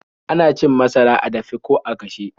Ana cin masara a dafe ko a gashe.